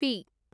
P